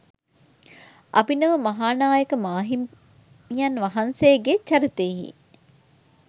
අභිනව මහානායක මාහිමියන් වහන්සේගේ චරිතයෙහි